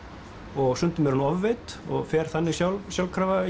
og stundum er hún ofveidd og fer þannig sjálfkrafa